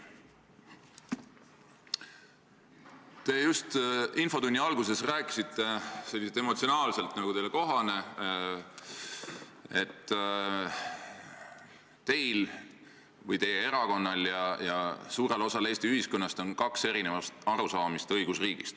Te just infotunni alguses rääkisite emotsionaalselt nagu teile kohane, et teil või teie erakonnal ja suurel osal Eesti ühiskonnast on eri arusaamised õigusriigist.